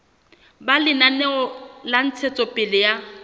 ba lenaneo la ntshetsopele ya